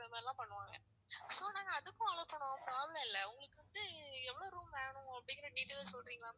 அந்த மாதிரி எல்லாம் பண்ணுவாங்க. so நாங்க அதுக்கும் allow பண்ணுவோம் problem இல்ல. உங்களுக்கு வந்து எவ்வளவு room வேணும் அப்படிங்கற details சொல்றீங்களா ma'am